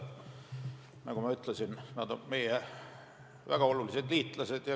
Nagu ma ütlesin, nad on meie väga olulised liitlased.